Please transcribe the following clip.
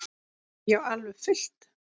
Já, alveg fullt.